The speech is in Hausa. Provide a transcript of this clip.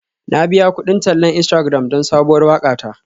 Na biya kudin tallan Instagram don sabuwar waƙa ta.